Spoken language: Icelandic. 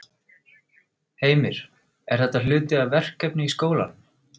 Heimir: Er þetta hluti af verkefni í skólanum?